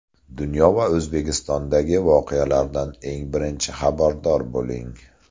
Dunyo va O‘zbekistondagi voqealardan eng birinchi xabardor bo‘ling.